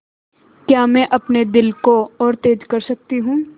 क्या मैं अपने दिल को और तेज़ कर सकती हूँ